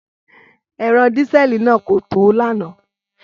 Ẹ̀rọ dísẹ́ẹ̀lì náà kò tó lánàá.